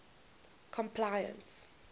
complaints